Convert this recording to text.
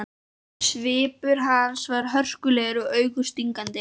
Svipur hans var hörkulegur og augun stingandi.